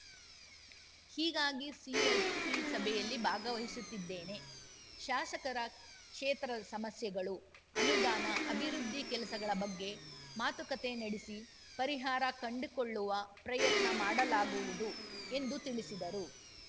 ಹೀಗಾಗಿ ಸಿಎಲ್‌ಪಿ ಸಭೆಯಲ್ಲಿ ಭಾಗವಹಿಸುತ್ತಿದ್ದೇನೆ ಶಾಸಕರ ಕ್ಷೇತ್ರದ ಸಮಸ್ಯೆಗಳು ಅನುದಾನ ಅಭಿವೃದ್ಧಿ ಕೆಲಸಗಳ ಬಗ್ಗೆ ಮಾತುಕತೆ ನಡೆಸಿ ಪರಿಹಾರ ಕಂಡುಕೊಳ್ಳುವ ಪ್ರಯತ್ನ ಮಾಡಲಾಗುವುದು ಎಂದು ತಿಳಿಸಿದರು